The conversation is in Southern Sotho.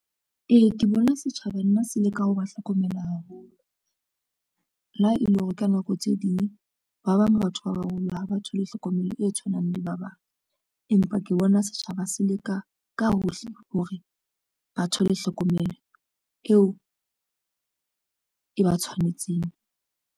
Ee, ke bona setjhaba nna se leka ho ba hlokomela haholo. Le ha e le hore ka nako tse ding ba bang batho ba baholo ha ba thole hlokomelo e tshwanang le ya ba bang, empa ke bona setjhaba se leka ka hohle hore ba thole hlokomelo eo e ba tshwanetseng.